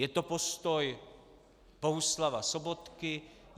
Je to postoj Bohuslava Sobotky?